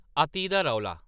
﻿अति दा रौला